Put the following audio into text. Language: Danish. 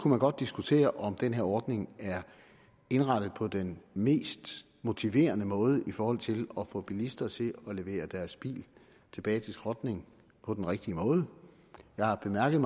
godt diskutere om den her ordning er indrettet på den mest motiverende måde i forhold til at få bilister til at levere deres biler tilbage til skrotning på den rigtige måde jeg har bemærket